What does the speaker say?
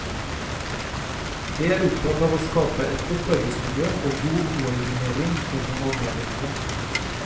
Jeg er opptatt av å skape et godt arbeidsmiljø og god koordinering mellom avdelingene.